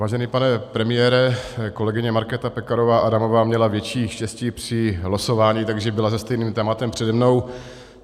Vážený pane premiére, kolegyně Markéta Pekarová Adamová měla větší štěstí při losování, takže byla se stejným tématem přede mnou.